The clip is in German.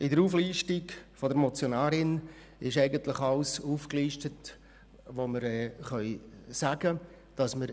In der Auflistung der Motionärin ist alles aufgelistet, was wir dazu sagen können.